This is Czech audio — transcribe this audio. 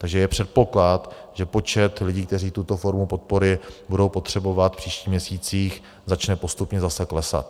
Takže je předpoklad, že počet lidí, kteří tuto formu podpory budou potřebovat v příštích měsících, začne postupně zase klesat.